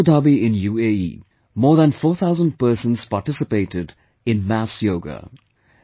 In Abu Dhabi in UAE, more than 4000 persons participated in mass yoga